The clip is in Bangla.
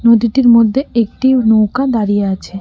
নদীটির মধ্যে একটি নৌকা দাঁড়িয়ে আছে।